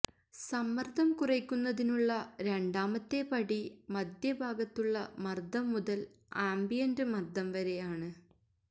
സമ്മർദ്ദം കുറയ്ക്കുന്നതിനുള്ള രണ്ടാമത്തെ പടി മദ്ധ്യഭാഗത്തുള്ള മർദ്ദം മുതൽ ആംബിയന്റ് മർദ്ദം വരെ ആണ്